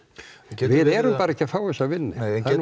við erum bara ekki að fá þessa vinnu